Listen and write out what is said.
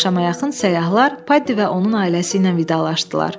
Axşama yaxın səyyahlar, Paddiy və onun ailəsi ilə vidalaşdılar.